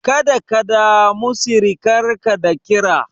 Kada ka damu sirikarka da kira.